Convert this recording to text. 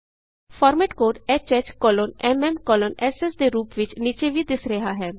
format code HHMMSS ਦੇ ਰੂਪ ਵਿਚ ਨੀਚੇ ਵੀ ਦਿੱਸ ਰਿਹਾ ਹੈ